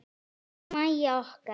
Elsku Mæja okkar.